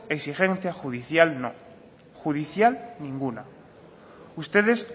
exigencia judicial no judicial ninguna ustedes